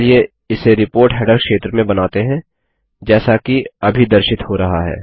चलिए इसे report header क्षेत्र में बनाते हैं जैसा कि अभी दर्शित हो रहा है